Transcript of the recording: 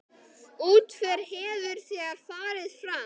Útför hefur þegar farið fram.